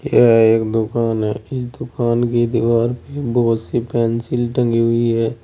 यह एक दुकान है इस दुकान की दीवार पे बहुत सी पेंसिल टंगी हुई है।